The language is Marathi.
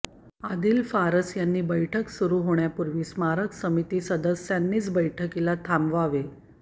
आदिल फरास यांनी बैठक सुरु होण्यापूर्वी स्मारक समिती सदस्यांनीच बैठकीला थांबवावे